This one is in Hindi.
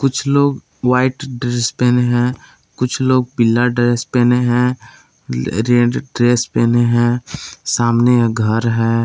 कुछ लोग व्हाइट ड्रेस पेहने हैं कुछ लोग पीला ड्रेस पेहने हैं रेड ड्रेस पेहने हैं सामने घर है।